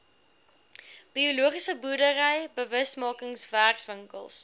biologiese boerdery bewusmakingswerkswinkels